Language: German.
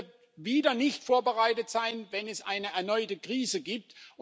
Die EU wird wieder nicht vorbereitet sein, wenn es eine erneute Krise gibt.